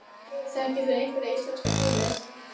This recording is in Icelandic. Þekkir þú einhverja íslenska tónlist?